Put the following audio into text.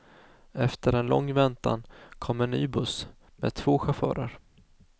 Efter en lång väntan kom en ny buss, med två chaufförer.